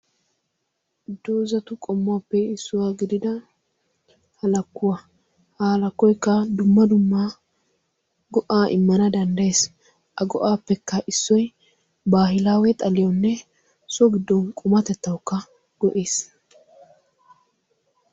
doozatu qommuwaappe issuwaa gidida halakkuwaa. ha alakkoikka dumma dumma go7aa immana danddayees. a go7aappekka issoi baahilaawe xaliyoonne so giddon qumatettaukka go7ies.